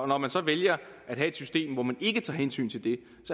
når man så vælger at have et system hvor man ikke tager hensyn til det